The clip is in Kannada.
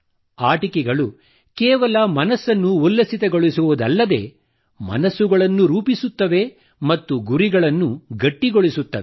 ಆಟಿಕೆಗಳು ಕೇವಲ ಮನಸ್ಸನ್ನು ಉಲ್ಲಸಿತಗೊಳಿಸುವುದಲ್ಲದೆ ಮನಸ್ಸುಗಳನ್ನು ರೂಪಿಸುತ್ತವೆ ಮತ್ತು ಗುರಿಗಳನ್ನು ಗಟ್ಟಿಗೊಳಿಸುತ್ತವೆ